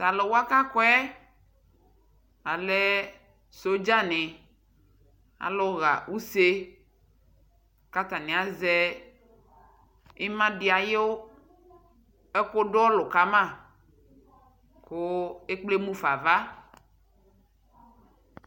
Tʊ alʊwa kʊ akɔ yɛ alɛ sodzanɩ, alʊ ɣa use kʊ atanɩ azɛ ima dʊ ɔlʊ kama, kʊ ekple mufa ava